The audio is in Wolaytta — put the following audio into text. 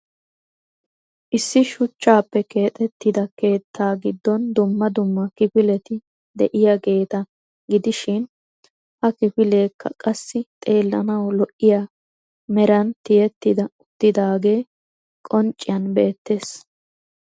Issi shuchchappe keexxetida keettaa giddon dumma dumma kifileti de'iyaageta gidishin ha kifileka qassi xeelanaw lo"iyaa meran tiyyeti uttidaage qoncciyaan beettees.